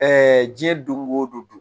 diɲɛ don go don